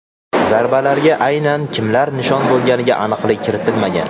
Zarbalarga aynan kimlar nishon bo‘lganiga aniqlik kiritilmagan.